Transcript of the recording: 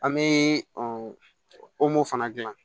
An bɛ fana dilan